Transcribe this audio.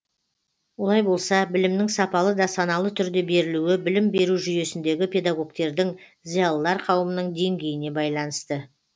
олай болса білімнің сапалы да саналы түрде берілуі білім беру жүйесіндегі педагогтердің зиялылар қауымының деңгейіне байланысты